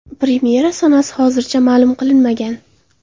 Premyera sanasi hozircha ma’lum qilinmagan.